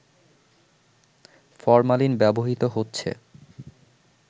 formalin ব্যবহৃত হচ্ছে